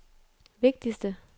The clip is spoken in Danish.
vigtigste